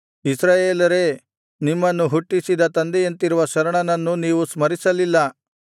ಇಸ್ರಾಯೇಲರೇ ನಿಮ್ಮನ್ನು ಹುಟ್ಟಿಸಿದ ತಂದೆಯಂತಿರುವ ಶರಣನನ್ನು ನೀವು ಸ್ಮರಿಸಲಿಲ್ಲ ಹೆತ್ತ ತಾಯಿಯಂತಿರುವ ದೇವರನ್ನು ಮರೆತುಬಿಟ್ಟಿರಿ